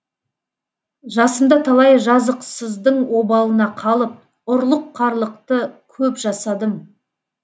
жасымда талай жазықсыздың обалына қалып ұрлық қарлықты көп жасадым